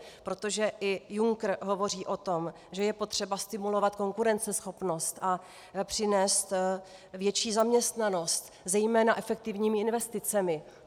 Protože i Juncker hovoří o tom, že je potřeba stimulovat konkurenceschopnost a přinést větší zaměstnanost zejména efektivními investicemi.